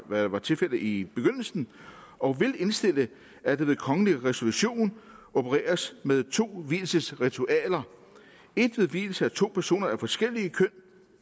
hvad der var tilfældet i begyndelsen og vil indstille at der ved kongelig resolution opereres med to vielsesritualer et ved vielse af to personer af forskellige køn